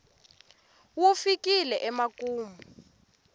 wu fikile emakumu